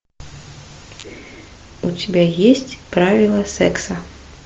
у тебя есть правила секса